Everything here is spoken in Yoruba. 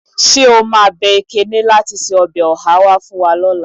Ṣé o máa bẹ Ekene láti se ọbẹ̀ ọhá wá fún wa lọ́la.